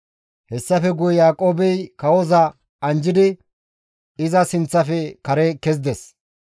Hessafe guye Yaaqoobey kawoza anjjidi iza sinththafe kare kezides.